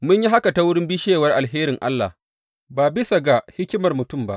Mun yi haka ta wurin bishewar alherin Allah, ba bisa ga hikimar duniya ba.